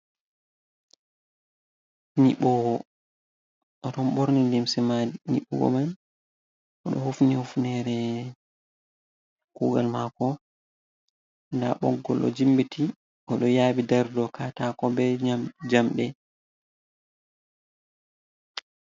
Nyiɓuwo oɗon ɓorni limse ma niɓugo man o ɗo hufni hufnere kugal mako ɗa ɓoggol ɗo jimbiti o ɗo yaɓi ɗari dou katako ɓe jamɗe.